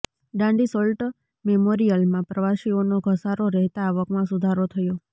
Dandi salt મેમોરિયલમાં પ્રવાસીઓનો ધસારો રહેતાં આવકમાં સુધારો થયો